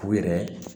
U yɛrɛ